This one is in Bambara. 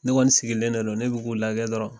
Ne kɔni sigilen de don ne b'u lakɛ dɔrɔn